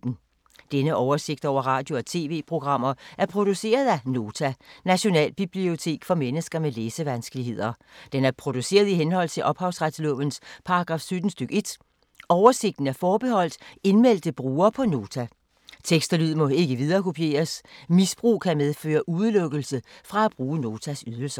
Denne oversigt over radio og TV-programmer er produceret af Nota, Nationalbibliotek for mennesker med læsevanskeligheder. Den er produceret i henhold til ophavsretslovens paragraf 17 stk. 1. Oversigten er forbeholdt indmeldte brugere på Nota. Tekst og lyd må ikke viderekopieres. Misbrug kan medføre udelukkelse fra at bruge Notas ydelser.